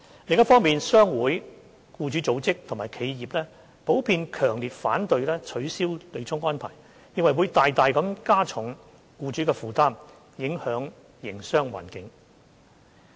另一方面，商會、僱主組織及企業普遍強烈反對取消對沖安排，認為會大大加重僱主的負擔，影響營商環境。